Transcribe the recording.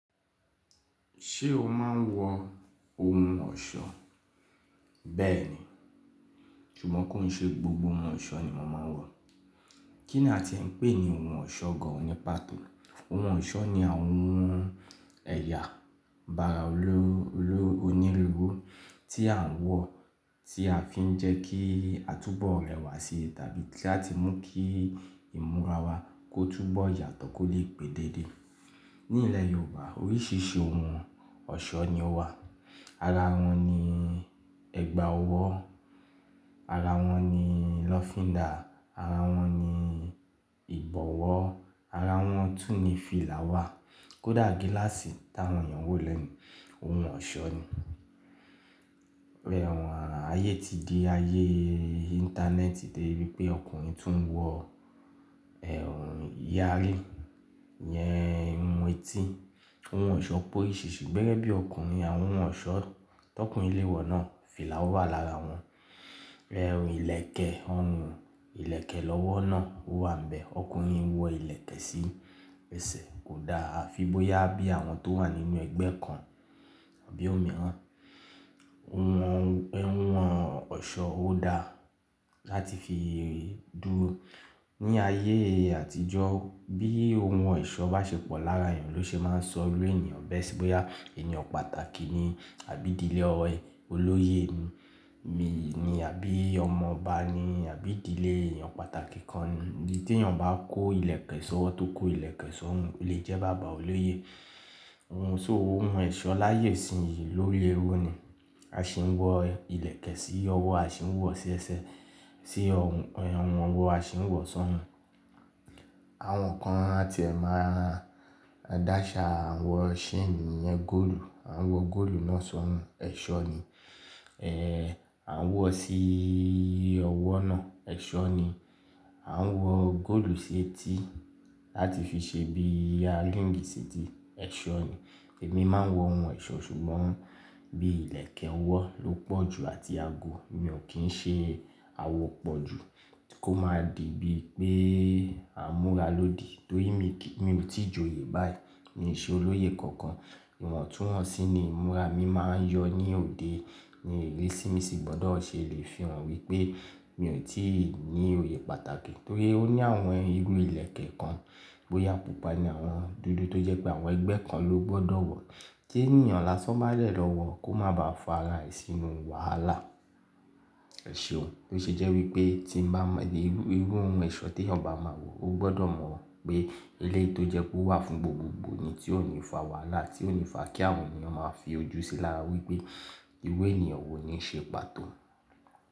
Ṣé o máa ń wọ ohun ọ̀ṣọ́? Bẹ́ẹ̀ni, ṣùgbọ́n kìí ṣe gbogbo òun ọ̀ṣọ́ ni mo máa ń wọ̀. Kí ni a tiẹ̀ ń pè ní ohun ọ̀ṣọ́ gan-an ní pàtó? Ohun ọ̀ṣọ́ ni àwọn ohun ẹ̀yà, ara oníruru tí a ń wọ̀, tí a fi ń jẹ́ kí a túbọ̀ rẹwà sí tàbí láti mú kí ìmúra wa kó túbọ̀ yàtọ̀ kó lè pé dédé. Ní ilẹ̀ Yorùbá oríṣìíríṣìí ohun ọ̀ṣọ́ ni ó wà. Ara wọn ni ẹ̀gbà ọwọ́, ara wọn ni lọ́fíndà, ara wọn ni ìbọ̀wọ́, ara wọn tún ní fìlà wà. Kódà gíláàsì tí àwọn èèyàn ń wọ̀ lẹ́ni, ohun ọ̀ṣọ́ ni. Ayé ti di ayé íńtánẹ́ẹ̀tì dé ibi pé ọkùnrin tún wọ ẹ̀wọ̀n ìyẹrí, ìyẹn ohun etí. Ohun ọ̀ṣọ́ pé oríṣìíríṣìí, gẹ́gẹ́ bí ọkùnrin, àwọn ohun ọ̀ṣọ́ tó ọkùnrin lè wọ̀ náà, fìlà wà lára wọn. Ìlẹ̀kẹ̀ ọrùn, ìlẹ̀kẹ̀ lọ́wọ́ náà wà ńbẹ̀. Ọkùnrin ń wọ ìlẹ̀kẹ̀ sí ẹsẹ̀, kò dáa, a fi bóyá bí àwọn tó wà nínú ẹgbẹ́ kan àbí òmíràn. Ohun ẹ̀wọ̀n ọ̀ṣọ́ ò dáa láti fi dúró. Ní ayé àtijọ́, bí ohun ọ̀ṣọ́ bá ṣe pọ̀ lára èèyàn ló ṣe máa ń sọ irú ènìyàn bẹ́ẹ̀ sì bóyá ènìyàn pàtàkì ni àbí ìdílé ọlọ́yè ni àbí ọmọ ọba ni àbí ìdílé ènìyàn pàtàkì kan ni. Tí èèyàn bá kó ìlẹ̀kẹ̀ sọ́wọ́ tó kó ìlẹ̀kẹ̀ sọ́rùn lè jẹ́ bàbá ọlọ́yè. Ohun-- òhun ẹṣọ́ láyé ìṣìǹ yìí ló léwu ni. A sì ń wọ ìlẹ̀kẹ̀ sí ọwọ́, a sì ń wọ̀ sí ẹsẹ̀, sí rhun ọwọ́, a sì ń wọ̀ sọ́rùn. Àwọn kan ti ẹ̀ máa dàṣà, àn wọ saini, ìyẹn góòlù. Àn wọ góòlù náà sọ́rùn, ẹ̀ṣọ́ ni. Àn wọ sí ọwọ́ náà, ẹ̀ṣọ́ ni. Àwọn wọ góòlù sí etí láti fi ṣe bí i earríǹgì sí etí, ẹ̀ṣọ́ ni. Èmi máa ń wọ ohun ọ̀ṣọ́ ṣùgbọ́n bí ìlẹ̀kẹ̀ ọwọ́ ló pọ̀ ju àti ago. Ènìyàn kì í ṣe àwọ̀ pọ̀ ju kó máa di bí pé à amúra lòdì. Torí mi kì í-- mi ò tí ì joyè báyìí mií ṣẹ́ olóyè kankan. Ìwọ̀n tún wọn sí ni ìmúra mi máa ń yọ ní òde. Ní ìrísí mísí gbọ́dọ̀ ṣe lè fi hàn wípé mi ò tí ì ní òye pàtàkì. Torí ó ní àwọn irú ìlẹ̀kẹ̀ kan bóyá pupa ni àwọn, dúdú tó jẹ́ pé àwọn ẹgbẹ́ kan ló gbọdọ̀ wọ̀. Tí ènìyàn lásán bá dẹ̀ lọ wọ̀ kó máa ba fara e sínú wàhálà. Ẹ ṣe òun. Ló ṣe jẹ́ wípé irú òun ẹ̀ṣọ́ tèyàn bá má wọ̀ Ogbodo mo wípé eléyì tó jẹ́ pé ó wà fún gbogbo gbọ́ ni, tí ó ní fàá wàhálà tiò ní fa kí àwọn ènìyàn má fojú sí lára wípé irú ènìyàn wọn nií ṣe ní pàtó.